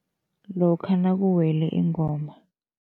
Lokha nakuwele ingoma.